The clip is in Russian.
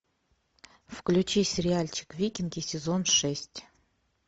включи сериальчик викинги сезон шесть